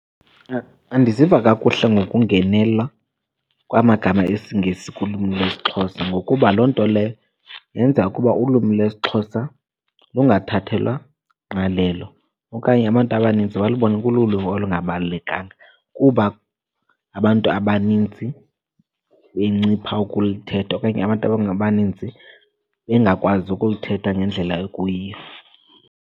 Andiziva kakuhle ngokungenela kwamagama esiNgesi kulwimi lwesiXhosa. Ngokuba loo nto leyo yenza ukuba ulwimi lwesiXhosa lungathathelwa ngqalelo okanye abantu nto abanintsi balubone kululwimi olungabalulekanga kuba abantu abaninzi bencipha ukulithetha okanye abantu abaninzi bengakwazi ukulithetha ngendlela ekuyiyo.